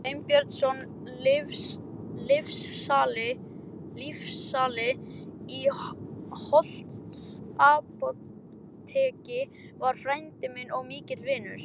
Sveinbjörnsson lyfsali í Holtsapóteki var frændi minn og mikill vinur.